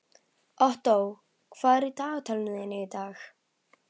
Ottó, hvað er á dagatalinu í dag?